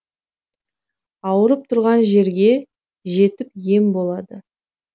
ауырып тұрған жерге жетіп ем болады